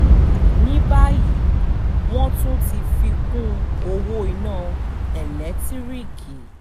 ní báyìí wọ́n tún ti fi kún ọwọ́ iná eléńtíríìkì